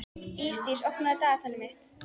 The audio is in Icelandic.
Ísdís, opnaðu dagatalið mitt.